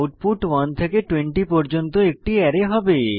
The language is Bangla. আউটপুট 1 থেকে 20 পর্যন্ত একটি অ্যারে হবে